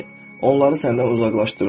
Onları səndən uzaqlaşdırmaq.